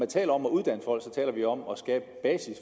taler om at uddanne folk taler vi om at skabe basis